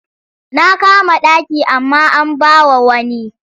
Na kama ɗaki amma an ba wa wani.